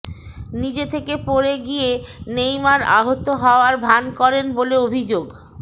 নিজে থেকে পড়ে গিয়ে নেইমার আহত হওয়ার ভান করেন বলে অভিযোগ